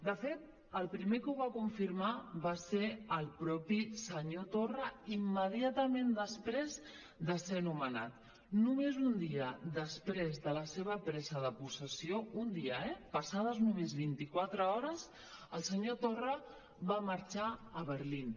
de fet el primer que ho va confirmar va ser el mateix senyor torra immediatament després de ser nomenat només un dia després de la seva presa de possessió un dia eh passades només vint i quatre hores el senyor torra va marxar a berlín